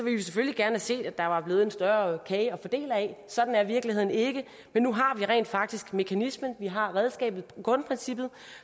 vi selvfølgelig gerne set at der var blevet en større kage at fordele af sådan er virkeligheden ikke men nu har vi rent faktisk mekanismen vi har redskabet grundprincippet